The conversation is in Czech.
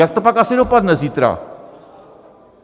Jak to pak asi dopadne zítra?